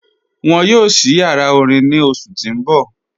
Wọn yóò sí yàrá orín ní ọṣù tí n bọ̀.